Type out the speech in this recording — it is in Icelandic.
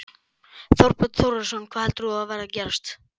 Þorbjörn Þórðarson: Hvað heldur þú að verði að gerast?